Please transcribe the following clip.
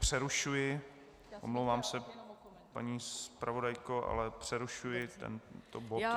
Přerušuji, omlouvám se, paní zpravodajko, ale přerušuji tento bod.